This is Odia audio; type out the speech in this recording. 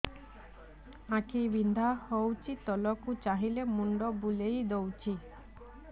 ଆଖି ବିନ୍ଧା ହଉଚି ତଳକୁ ଚାହିଁଲେ ମୁଣ୍ଡ ବୁଲେଇ ଦଉଛି